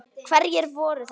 Hverjir voru þetta?